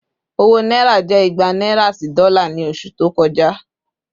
Owó Náírà jẹ́ ìgbà naira sì dola ni oṣù to kọjá